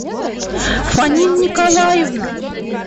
фаниль николаевна